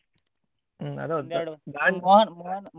ಹ್ಮ್ ಅದು ಹೌದು .